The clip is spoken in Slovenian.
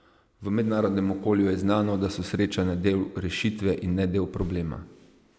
V mednarodnem okolju je znano, da so srečanja del rešitve in ne del problema.